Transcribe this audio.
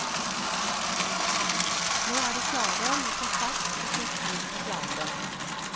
Nå er de klare med konsert og sin syvende plate.